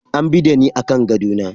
An bi da ni akan gado na.